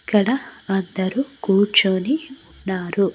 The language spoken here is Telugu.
ఇక్కడ అందరూ కూర్చొని ఉన్నారు.